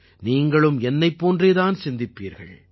நீங்களும் என்னைப் போன்றே தான் சிந்திப்பீர்கள்